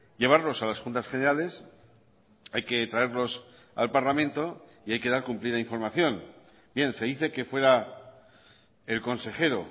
llevarlos a las juntas generales hay que traerlos al parlamento y hay que dar cumplida información bien se dice que fuera el consejero